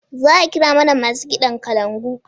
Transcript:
Za'a kira mana masu kiɗan kalangu?